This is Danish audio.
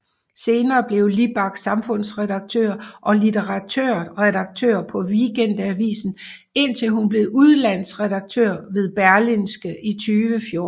Senere blev Libak samfundsredaktør og litteraturredaktør på Weekendavisen indtil hun blev udlandsredaktør ved Berlingske i 2014